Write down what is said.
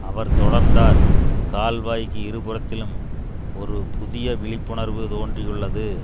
அவர் தொடர்ந்தார் கால்வாய்க்கு இரு புறத்திலும் ஒரு புதிய விழிப்புணர்வு தோன்றியுள்ளது